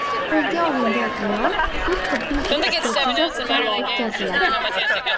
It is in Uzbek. Qo‘lga olingan ayol sud-tibbiy ekspertizasidan o‘tkaziladi.